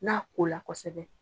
N'a ko la kɔsɛbɛ.